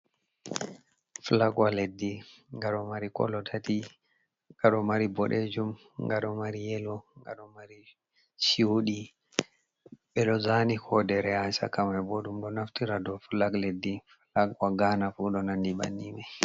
Flagwa leddi: Nga ɗo mari kolo tati. Nga ɗo mari boɗejum, nga ɗo mari yellow, nga ɗo mari chuɗi. Ɓedo zani kodere ha shaka mai. Bo ɗum ɗo naftira dou flag leddi flagwa ghana ko ɗo nandi banni mai.